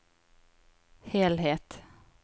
helhet